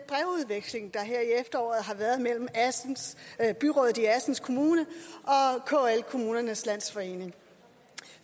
er her i efteråret har været mellem byrådet i assens kommune og kl kommunernes landsforening